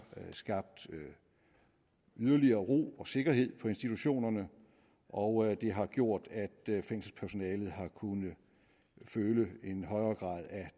skabt yderligere ro og sikkerhed på institutionerne og det har gjort at fængselspersonalet har kunnet føle en højere grad af